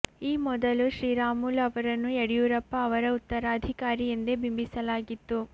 ಈ ಮೊದಲು ಶ್ರೀರಾಮುಲು ಅವರನ್ನು ಯಡಿಯೂರಪ್ಪ ಅವರ ಉತ್ತರಾಧಿಕಾರಿ ಎಂದೇ ಬಿಂಬಿಸಲಾಗಿತ್ತು